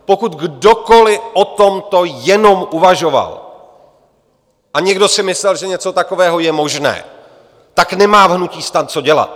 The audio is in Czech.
Pokud kdokoli o tomto jenom uvažoval a někdo si myslel, že něco takového je možné, tak nemá v hnutí STAN co dělat.